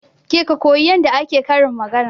Ke ka koyi yadda ake karin magana